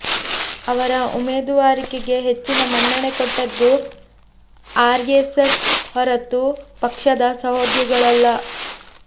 ಅವರ ಉಮೇದುವಾರಿಕೆಗೆ ಹೆಚ್ಚಿನ ಮನ್ನಣೆ ಕೊಟ್ಟದ್ದು ಆರ್ಎಸ್ಎಸ್ ಹೊರತೂ ಪಕ್ಷದ ಸಹೋದ್ಯೋಗಿಗಳಲ್ಲ